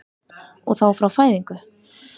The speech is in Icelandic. Og þá frá fæðingu?